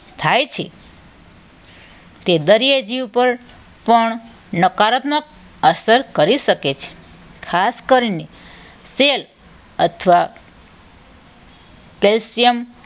થાય છે. તે દરિયાજી ઉપર પણ નકારાત્મક અસર કરી શકે છે. ખાસ કરીને સેલ અથવા કેલ્શિયમ